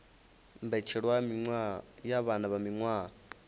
mbetshelwa ya vhana vha miwaha